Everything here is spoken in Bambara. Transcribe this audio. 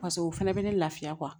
Paseke o fɛnɛ bɛ ne lafiya